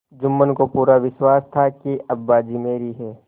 जुम्मन को पूरा विश्वास था कि अब बाजी मेरी है